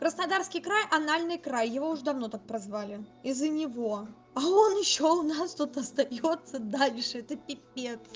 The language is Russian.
краснодарский край анальный край его уже давно так прозвали из-за него а он ещё у нас тут остаётся дальше это пипец